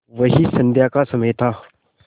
वही संध्या का समय था